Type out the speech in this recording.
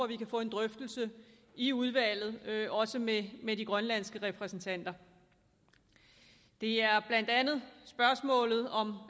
vi kan få en drøftelse i udvalget også med med de grønlandske repræsentanter det er blandt andet spørgsmålet om